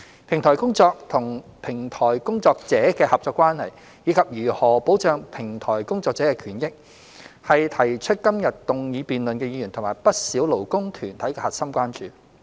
平台公司與平台工作者的合作關係，以及如何保障平台工作者的權益，是提出今日動議辯論的議員及不少勞工團體的核心關注。